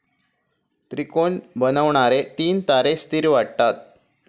त्रिकोण बनवणारे तीन तारे स्थीर वाटतात.